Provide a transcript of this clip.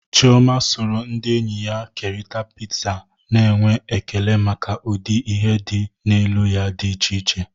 Chioma soro ndị enyi kerịta pitiza, na-enwe ekele maka ụdị ihe di na elu ya dị iche iche.